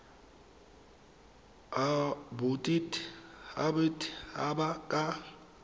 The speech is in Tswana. a bodit habat haba ka